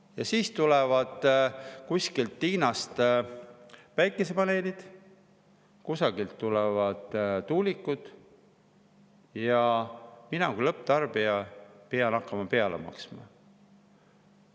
Ja siis tulevad kusagilt Hiinast päikesepaneelid, kusagilt tulevad tuulikud ja mina kui lõpptarbija pean hakkama peale maksma.